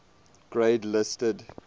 grade listed